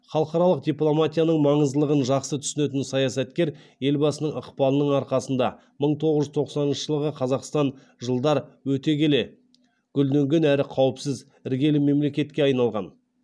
халықаралық дипломатияның маңыздылығын жақсы түсінетін саясаткер елбасының ықпалының арқасында мың тоғыз жүз тоқсаныншы жылғы қазақстан жылдар өте келе гүлденген әрі қауіпсіз іргелі мемлекетке айналған